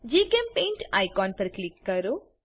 જીચેમ્પેઇન્ટ icon પર click કરો